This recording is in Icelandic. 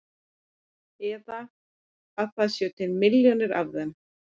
Eða að það séu til milljónir af þeim?